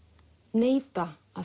neita að